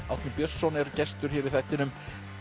Árni Björnsson er gestur hér í þættinum